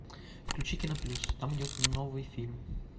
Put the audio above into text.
включи кино плюс там идет новый фильм